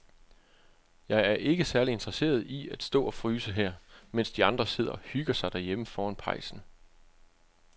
Jeg er ikke særlig interesseret i at stå og fryse her, mens de andre sidder og hygger sig derhjemme foran pejsen.